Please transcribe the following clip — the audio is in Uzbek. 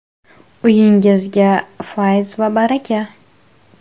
Uyingizga fayz va baraka.